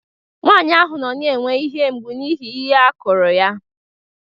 Nwanyị ahụ nọ na-enwe ihe mgbu n'ihi ihe a kụrụ ya